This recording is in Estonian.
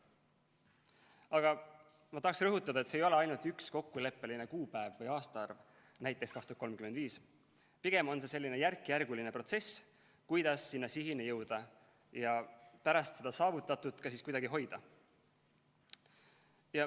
Aga ma tahan rõhutada, et see ei ole mitte ainult üks kokkuleppeline kuupäev või aastaarv, näiteks 2035, vaid pigem on see selline järkjärguline protsess, kuidas selle sihini jõuda ja pärast saavutatut ka kuidagi hoida.